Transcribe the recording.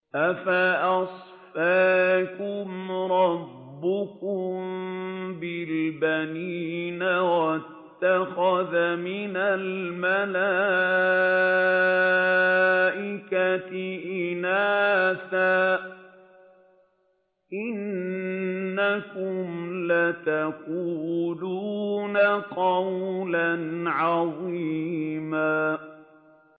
أَفَأَصْفَاكُمْ رَبُّكُم بِالْبَنِينَ وَاتَّخَذَ مِنَ الْمَلَائِكَةِ إِنَاثًا ۚ إِنَّكُمْ لَتَقُولُونَ قَوْلًا عَظِيمًا